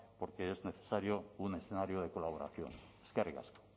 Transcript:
porque es necesario un escenario de colaboración eskerrik asko